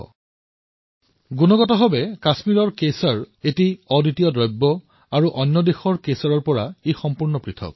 গুণগতমানৰ কথা কবলৈ গলে কাশ্মীৰৰ কেশৰ অনন্য আৰু অন্য দেশৰ কেশৰতকৈ পৃথক